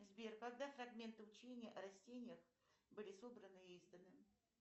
сбер когда фрагменты учения о растениях были собраны и изданы